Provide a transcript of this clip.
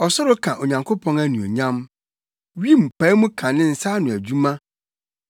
Ɔsoro ka Onyankopɔn anuonyam! Wim pae mu ka ne nsa ano adwuma,